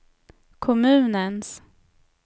kommunens